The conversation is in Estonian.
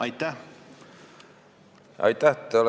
Aitäh!